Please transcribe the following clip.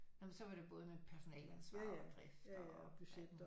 Nå men så var det både med personaleansvar og drift og